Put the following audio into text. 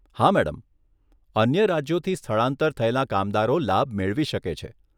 હા મેડમ, અન્ય રાજ્યોથી સ્થળાંતર થયેલાં કામદારો લાભ મેળવી શકે છે.